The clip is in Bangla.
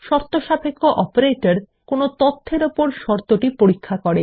শর্তসাপেক্ষ অপারেটর ব্যবহারকারীদের দেওয়া তথ্যের উপর শর্তটি পরীক্ষা করে